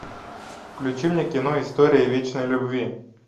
включи мне кино история вечной любви